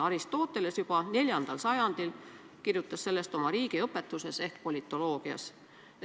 Aristoteles kirjutas juba IV sajandil sellest oma riigiõpetuses ehk politoloogias.